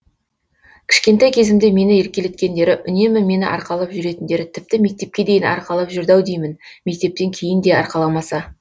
кішкентай кезімде мені еркелеткендері үнемі мені арқалап жүретіндері тіпті мектепке дейін арқалап жүрді ау деймін мектептен кейін де арқаламаса